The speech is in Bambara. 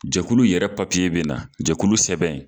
Jakulu yɛrɛ papiye bɛ na jɛkulu sɛbɛn